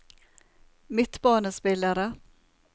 midtbanespillere